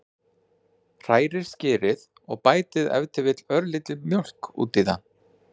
Hrærið skyrið og bætið ef til vill örlítilli mjólk út í það.